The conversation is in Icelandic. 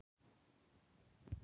Björn: Allt fyrir góðu.